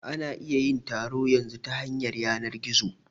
Ana iya yin taro yanzu ta yanar gizo